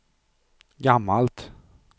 gammalt